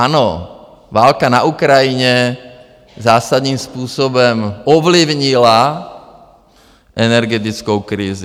Ano, válka na Ukrajině zásadním způsobem ovlivnila energetickou krizi.